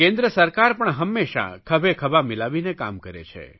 કેન્દ્ર સરકાર પણ હંમેશા ખભેખભા મિલાવીને કામ કરે છે